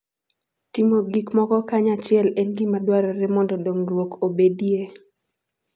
Timo gik moko kanyachiel en gima dwarore mondo dongruok obedie.